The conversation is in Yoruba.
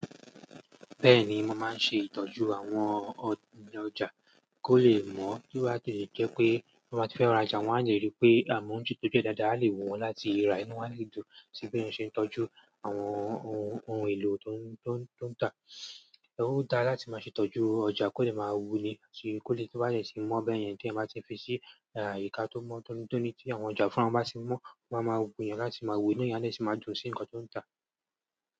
Bẹ́ẹ̀ni, mo máa ń ṣe ìtọ́jú àwọn ọjà kó lè mọ́, kí wọ́n tó lè jẹ́ pé bí wọ́n bá ti fẹ́ rajà, wọ́n á lè rí pé àwọn ohun tí ó jẹ́ dáadáa lè wù wọ́n láti rà, inú wọ́n á lè dùn sí bí wọ́n ṣe ń tọ́jú àwọn ohun èlò tó ń tà. Ó dára láti máa ṣe ìtọ́jú ọjà kó lè máa wú ni kí ó lè tí ó bá dé tí mọ́ bẹ́yẹn tí èèyàn bá ti fi sí àyìká tó mọ́ tóni tóni tí àwọn ọjà fúnra wọn bá tì mọ́, wọ́n á máa wú èèyàn láti máa wòó inú èèyàn á sì máa dùn sí nǹkan tó ń tà.